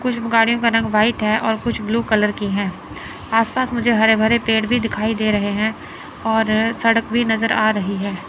कुछ कारें का रंग व्हाइट है और कुछ ब्लू कलर की हैं आसपास मुझे हरे भरे पेड़ भी दिखाई दे रहे हैं और सड़क भी नज़र आ रही है।